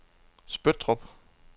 Spøttrup